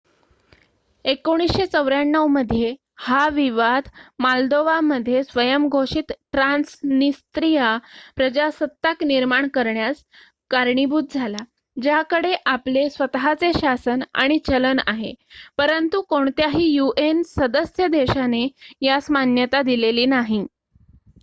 1994 मध्ये हा विवाद मोल्दोवा मध्ये स्वयंघोषित ट्रान्सनिस्त्रीया प्रजासत्ताक निर्माण करण्यास कारणीभूत झाला ज्याकडे आपले स्वत:चे शासन आणि चलन आहे परंतु कोणत्याही यूएन सदस्य देशाने यास मान्यता दिलेली नाही